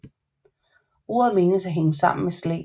Ordet menes at hænge sammen med Slæ